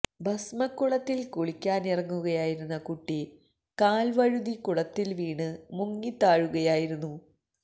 ഭസ്മക്കുളത്തിൽ കുളിക്കാനിറങ്ങുകയായിരുന്ന കുട്ടി കാൽ വഴുതി കുളത്തിൽ വീണ് മുങ്ങിത്താഴുകയായിരുന്നു